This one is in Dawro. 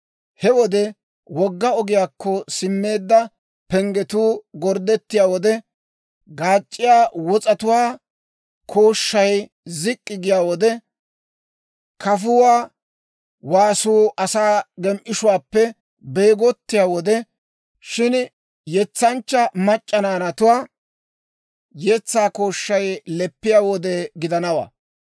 He wode wogga ogiyaakko simmeedda penggetuu gorddettiyaa wode, gaac'c'iyaa wos'atuwaa kooshshay zik'k'i giyaa wode, kafuwaa waasuu asaa gem"ishuwaappe beegotsiyaa wode, shin, yetsanchcha mac'c'a naanatuwaa yetsaa kooshshay leppiyaa wode gidanawaa.